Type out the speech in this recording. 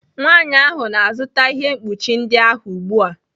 Nwanyị ahụ na-azụta ihe mkpuchi ndị ahụ ugbu a.